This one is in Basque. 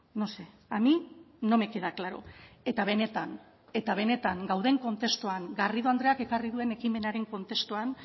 no sé a mí no me queda claro eta benetan eta benetan gauden kontestuan garrido andreak ekarri duen ekimenaren kontestuan